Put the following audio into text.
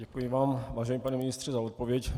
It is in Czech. Děkuji vám, vážený pane ministře, za odpověď.